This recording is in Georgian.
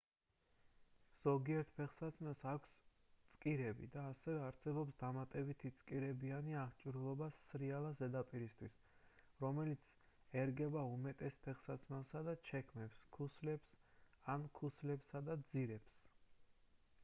ზოგიერთ ფეხსაცმელს აქვს წკირები და ასევე არსებობს დამატებითი წკირებიანი აღჭურვილობა სრიალა ზედაპირისთვის რომელიც ერგება უმეტეს ფეხსაცმელებსა და ჩექმებს ქუსლებს ან ქუსლებსა და ძირებს